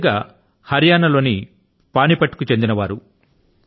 కృతికా గారు హరియాణా లో పానీపత్ కు చెందిన వారు